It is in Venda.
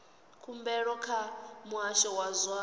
khumbelo kha muhasho wa zwa